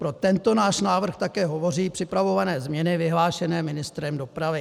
Pro tento náš návrh také hovoří připravované změny vyhlášené ministrem dopravy.